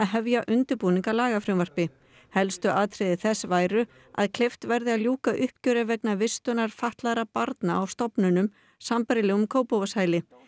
hefja undirbúning að lagafrumvarpi helstu atriði þess væru að kleift verði að ljúka uppgjöri vegna vistunar fatlaðra barna á stofnunum sambærilegum Kópavogshæli